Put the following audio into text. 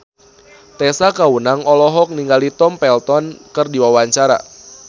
Tessa Kaunang olohok ningali Tom Felton keur diwawancara